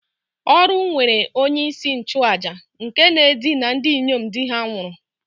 Oru nwere onye-isi-nchu-àjà nke na-edina ndinyom di-ha nwuru